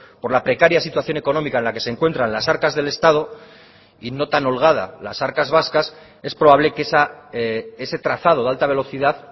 por la precaria situación económica en la que se encuentran las arcas del estado y no tan holgada las arcas vascas es probable que ese trazado de alta velocidad